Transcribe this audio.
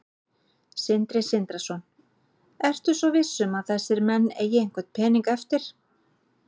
Sindri Sindrason: Ertu svo viss um að þessir menn eigi einhvern pening eftir?